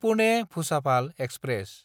पुने–भुसाभाल express